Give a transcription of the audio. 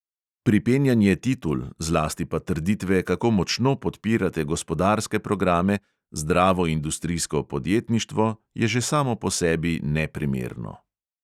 Pripenjanje titul, zlasti pa trditve, kako močno podpirate gospodarske programe, zdravo industrijsko podjetništvo, je že samo po sebi neprimerno.